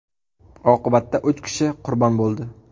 Oqibatda uch kishi qurbon bo‘ldi.